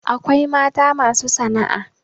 akwai mata masu sana'a